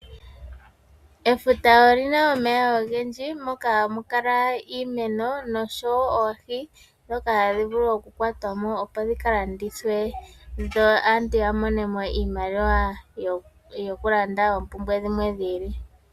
Efuta olina omeya ogendji moka hamukala iimeno noshowoo oohi dhoka hadhivulu okukwatwamo opo dhikalandithwe dho aantu yamonemo iimaliwa yokulanda oompumbwe dhimwe dhiili.